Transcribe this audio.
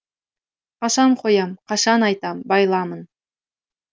қашан қоям қашан айтам байламын